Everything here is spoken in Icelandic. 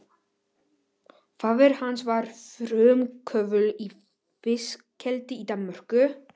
Faðir hans var frumkvöðull í fiskeldi í Danmörku.